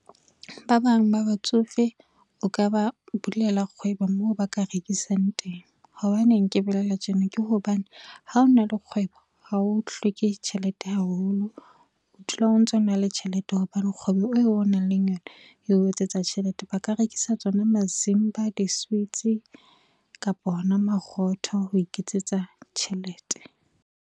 Ba bang ba batsofe, o ka ba bulela kgwebo moo ba ka rekisang teng. Hobaneng ke bolela tjena ke hobane ha o na le kgwebo, ha o hloke tjhelete haholo. O dula o ntso na le tjhelete hobane kgwebo eo o nang le yona eo etsetsa tjhelete ba ka rekisa tsona mazimba, diswitsi kapa ona marotho ho iketsetsa tjhelete.